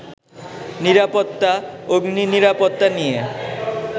নিরাপত্তা, অগ্নিনিরাপত্তা নিয়ে